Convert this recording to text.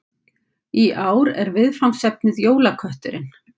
Í ár er viðfangsefnið Jólakötturinn